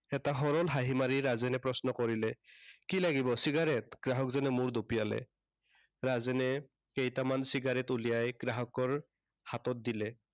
এটা সৰল হাঁহি মাৰি ৰাজেনে প্ৰশ্ন কৰিলে, কি লাগিব cigarette গ্ৰাহকজনে মূৰ দোপিয়ালে। ৰাজেনে কেইটামান cigarette উলিয়াই গ্ৰাহকৰ হাতত দিলে।